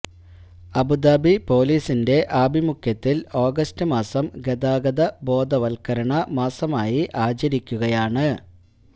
Abu Dhabi പോലീസിന്റെ ആഭിമുഖ്യ ത്തില് ആഗസ്റ്റ് മാസം ഗതാഗത ബോധവത്കരണ മാസ മായി ആചരിക്കുകയാണ്